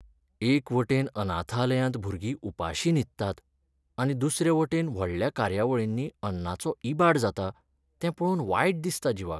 एकवटेन अनाथालयांत भुरगीं उपाशी न्हिदतात, आनी दुसरे वटेन व्हडल्या कार्यावळींनी अन्नाचो इबाड जाता, तें पळोवन वायट दिसता जिवाक.